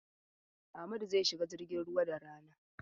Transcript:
Amadu zai shiga jirgin ruwa da rana.